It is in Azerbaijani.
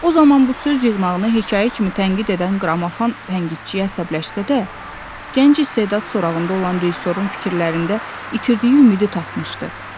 O zaman bu söz yığınağını hekayə kimi tənqid edən qrammofon tənqidçiyə əsəbləşsə də, gənc istedad sorağında olan rejissorun fikirlərində itirdiyi ümidi tapmışdı.